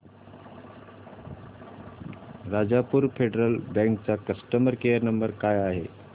Rajapur Federal Bank चा customer care number काय आहे